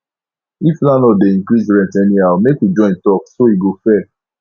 if landlord dey increase rent anyhow make we join talk so e go fair